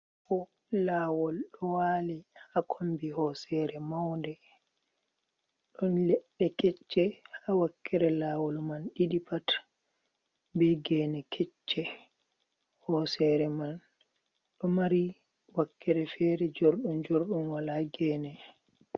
Ɗo lawol ɗo wali haa kombi hosere maunde ɗon leɗɗe kecce haa wakkere lawol man ɗiɗi pat be gene kecce, hosere man ɗo mari wakkere fere jorɗum jorɗum walaa gene.